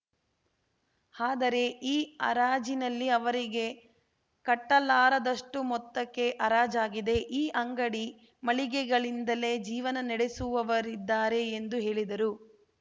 ಆದರೆ ಈ ಹರಾಜಿನಲ್ಲಿ ಅವರಿಗೆ ಕಟ್ಟಲಾರದಷ್ಟುಮೊತ್ತಕ್ಕೆ ಹರಾಜಾಗಿದೆ ಈ ಅಂಗಡಿ ಮಳಿಗೆಗಳಿಂದಲೇ ಜೀವನ ನಡೆಸುವವರಿದ್ದಾರೆ ಎಂದು ಹೇಳಿದರು